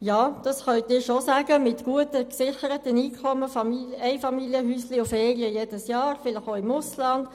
Ja das können Sie schon sagen, Sie mit Ihren guten, gesicherten Einkommen, mit ihren Einfamilienhäuschen und alljährlichen Ferien, vielleicht sogar im Ausland;